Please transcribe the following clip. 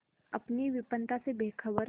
अपनी विपन्नता से बेखबर